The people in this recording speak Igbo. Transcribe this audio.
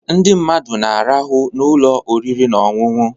Ndị mmadụ na-arahụ n'ụlọ oriri na ọṅụṅụ